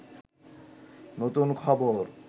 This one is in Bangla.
নতুন খবর